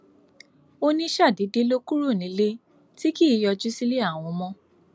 ó ní ṣàdédé ló kúrò nílé tí kì í yọjú sílé àwọn mọ